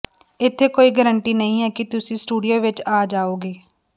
ਇੱਥੇ ਕੋਈ ਗਾਰੰਟੀ ਨਹੀਂ ਹੈ ਕਿ ਤੁਸੀਂ ਸਟੂਡੀਓ ਵਿਚ ਆ ਜਾਓਗੇ